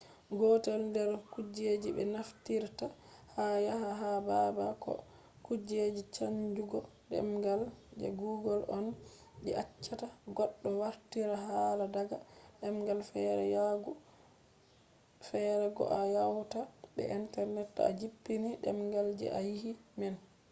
gotel der kujeji be naftirta ha waya ha babal do kuje chanjugo demgal je google on je accata goddo wartira hala daga demgal fere yahugo fere ko a hauta be internet to a jippini demgal je a yidi man